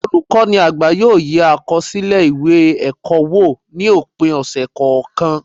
Olukọni àgbá yóò yé akọsilẹ ìwé ẹkọ wò, ni opin ọsẹ kọọkan